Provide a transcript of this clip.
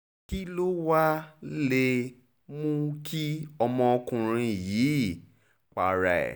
kí ló wàá lè mú kí ọmọkùnrin yìí para ẹ̀